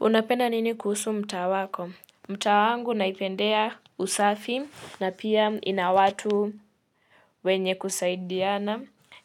Unapenda nini kuhusu mtaa wako? Mtaa wangu naipendea usafi na pia ina watu wenye kusaidiana.